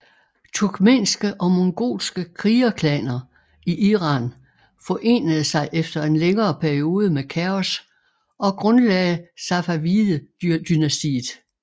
Turkmenske og mongolske krigerklaner i Iran forenede sig efter en længere periode med kaos og grundlagde Safavidedynastiet